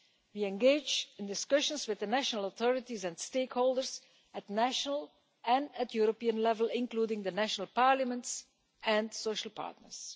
We engage in discussions with the national authorities and stakeholders at national and at European level, including the national parliaments and social partners.